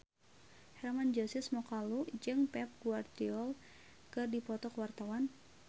Hermann Josis Mokalu jeung Pep Guardiola keur dipoto ku wartawan